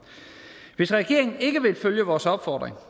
hvis regeringen ikke vil følge vores opfordring